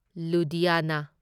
Ludhiana